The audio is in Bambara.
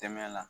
Tɛmɛ la